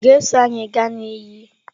Ị ga-eso anyị gaa na iyi?